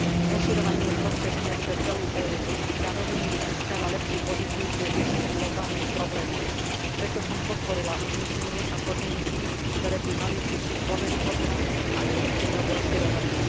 Rozširovanie je prospešné pre celú EÚ, zároveň jej získava lepšiu pozíciu pri riešení globálnych problémov, preto som podporila uznesenie a podmienky, ktoré by mali zvýšiť dôveryhodnosť a efektívnosť rozširovania.